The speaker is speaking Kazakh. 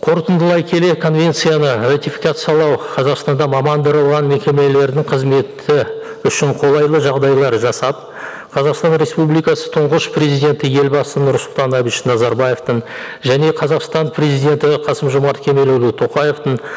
қорытындылай келе конвенцияны ратификациялау қазақстанда мекемелердің қызметі үшін қолайлы жағдайлар жасап қазақстан республикасы тұнғыш президенті елбасы нұрсұлтан назарбаевтың және қазақстан президенті қасым жомарт кемелұлы тоқаевтың